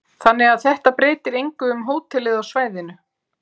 Þannig að þetta breytir engu um hótelið á svæðinu?